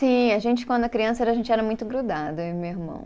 Sim, a gente, quando a criança era, a gente era muito grudado, eu e meu irmão.